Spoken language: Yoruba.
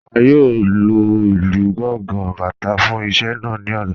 A yóò lọ ilú Gàngà, Bátà fún iṣẹ̀ naa ní ọ̀lá.